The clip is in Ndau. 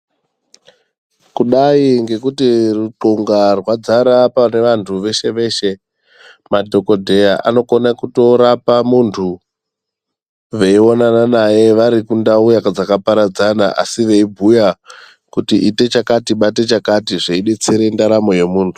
Kudai ngekuti ruxunga rwadzara pane vantu veshe veshe madhokoteya vanokona kutorapa muntu veinonana naye vari kundau dzakaparadzana asi veibhuya kuti ite chakati bate chakati zveidetsere ndaramo yemuntu.